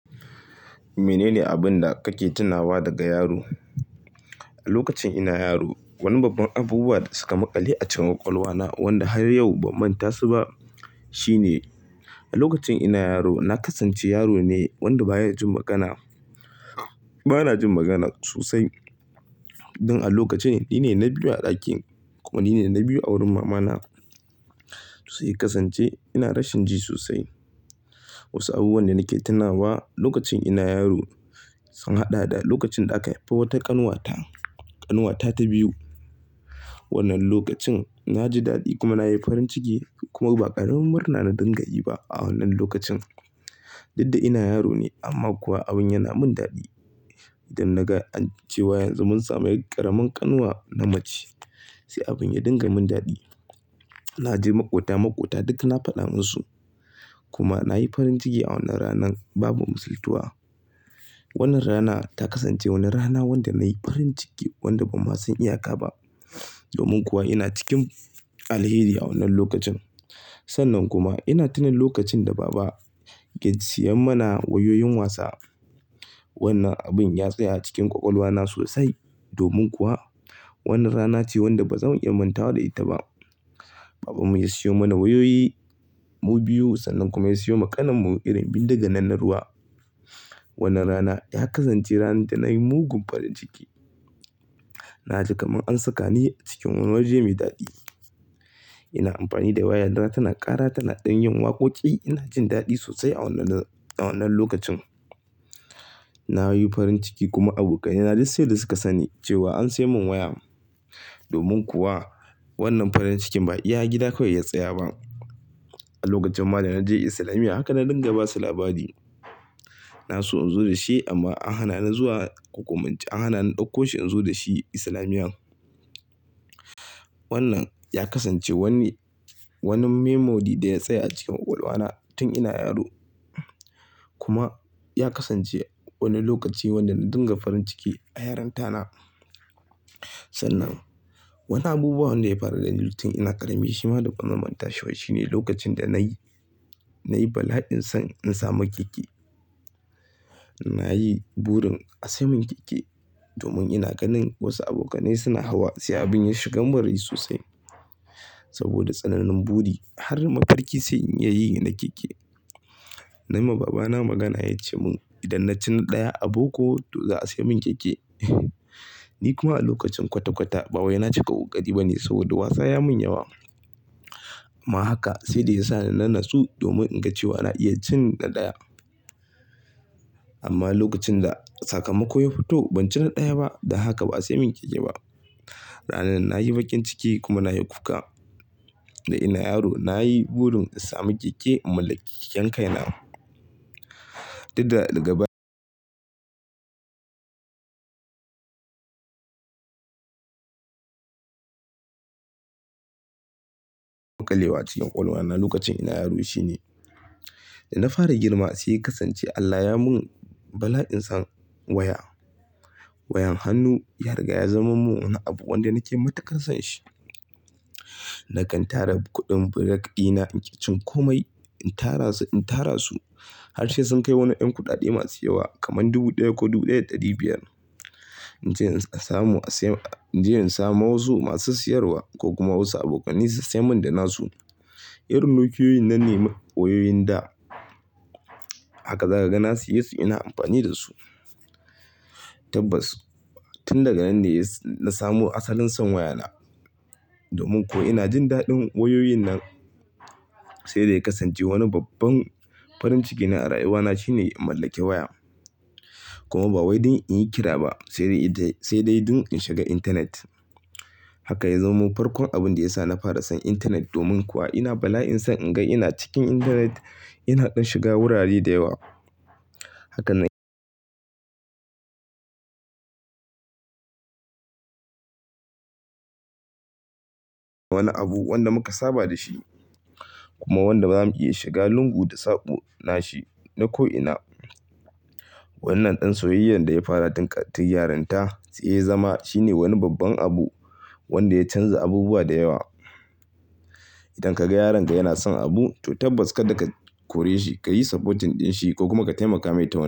Menene abin da kake tunawa daga yaro? A lokacin ina yaro wani babban abubuwa da suka makali a cikin ƙwaƙwalwa na wanda har yau ba manta su ba shine a lokacin ina yaro na kasance yaro ne wanda baya jin magana. Bana jin magana sosai. Don a lokacin nine na biyu a ɗakin ko nine na biyu a wurin mama na. Sai kasance ina rashin ji sosai. Wasu abubuwan da nake tunawa lokacin ina yaro sun haɗa da lokacin da aka haifa wata ƙanwata, ƙanuwata ta biyu. Wannan lokacin na ji daɗi kuma nayi farin ciki kuma ba ƙaramin murna na dinga yi ba a wannan lokacin. Didda ina yaro ne amma kuwa abin yana min daɗi. Idan na ga ancewa yanzu mun samu ƙaramin ƙanwa na mace, sai abin ya dinga min daɗi. Na je maƙota maƙota duk na faɗa musu kuma nayi farin ciki a wannan ranan babu musultuwa. Wannan rana ta kasance wani rana wanda nayi farin ciki wanda ba ma san iya ka ba. Domin kuwa ina cikin alheri a wannan lokacin. Sannan kuma ina tuna lokacin da baba ke siyan mana wayoyin wasa. Wannan abin ya tsaya a cikin ƙwaƙwalwa na sosai. Domin kuwa wannan rana ce wanda ba zan in manta da ita ba. Babanmu ya siyo mana wayoyi mu biyu sannan kuma ya siyo ma ƙanin mu irin bindiga nan na ruwa. Wannan rana ya kasance ranar da nayi mugun farin ciki. Na ji kaman ansaka ni cikin waje mai daɗi. Ina amfani da waya na, yana ƙara tana ɗanyen waƙoƙi. Ina jin daɗi sosai a wannan lokacin. Na yi farin ciki kuma abokai na duk sai dai suka sani cewa an sai mun waya. Domin kuwa wannan farin cikin ba iya gida kawai ya tsaya ba. A lokacin ma da na je Islamiyya haka na dinga basu labari. Na so in zo da shi amma an hana ni zuwa ko kuman ce an hana ni ɗauko shi in zo da shi Islamiyya. Wannan ya kasance wani, wani memory da ya tsaya a cikin ƙwaƙwalwa na tun ina yaro. Kuma ya kasance wani lokaci wanda na dinga farin ciki a yaronta na. Sannan wani abubuwan wanda ya faru da ni tun ina ƙarami shi ma duk ban man manta shi ba. Shi ne lokacin da nayi bala'in son in samu keke. Na yi burin a sai mun keke domin ina ganin wasu abokane suna hawa sai abin ya shigan man rai sosai. Saboda tsananin buri har mafarki sai in iya na keke. Nai ma baba na magana he ya ce mun idan na ci na ɗaya aboko to za a sai mun keke. Ni kuma a lokacin kwata-kwata ba wai na cika ƙoƙari ba ne saboda wasa ya mun yawa. Amma haka sai dai ya sa ni nanatsu domin in ga cewa na iya cin na ɗaya. Amma lokacin da sakamako ya fito ban ci na ɗaya ba dan haka ba a sai mun keke ba. Ranar na yi bakin ciki kuma na yi kuka. Da ina yaro na yi burin in samu keke in mallake keken kai na. Didda daga ba. Makalewa cikin ƙwalwa na lokacin ina yaro shine. Da na fara girma sai ya kasance Allah ya mun bala'in son waya. Wayan hannu ya riga ya zama mun wani abu wanda nake matuƙar son shi. Na kan tara kuɗin burak ɗina, in ƙi cin kome in tara su in tara su har sai sun kai wani ƴan kuɗaɗe masu yawa kaman dubu ɗaya ko dubu ɗaya da ɗari biyar. In je in in samu in je in samu wasu masu siyarwa ko kuma wasu abokai ne su sayi mun da nasu. Irin nokiyoyin nan ne wayoyin da. Haka za ka ga nasiye su ina amfani da su. Tabbas tun daga nan ne na samu asalin son waya na. Domin kuwa ina jin daɗin wayoyin nan sai da ya kasance wani babban farin ciki na a rayuwa na shine in mallake waya. Kuma ba wai don in yi kira ba sai dai don in shiga intanet. Haka ya zamo farkon abin da ya sa na fara son intanet domin kuwa ina bala'in son in ga ina cikin intanet ina ɗan shiga wurare da yawa. Haka nan wani abu wanda muka saba da shi kuma wanda ba zamu iya shiga lungu da saɓo nashi na ko'ina. Wannan ɗan soyayyar da ya fara tun yaronta sai ya zama shine wani babban abu wanda ya canza abubuwa da yawa. Idan ka ga yaronka yana son abu to tabbas kar da ka kore shi, ka yi supporting ɗin shi ko kuma ka taimaka mai ta wani.